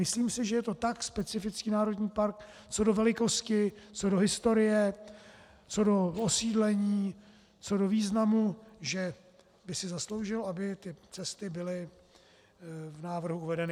Myslím si, že je to tak specifický národní park co do velikosti, co do historie, co do osídlení, co do významu, že by si zasloužil, aby ty cesty byly v návrhu uvedeny.